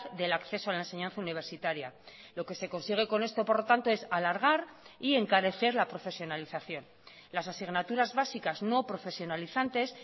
del acceso a la enseñanza universitaria lo que se consigue con esto por lo tanto es alargar y encarecer la profesionalización las asignaturas básicas no profesionalizantes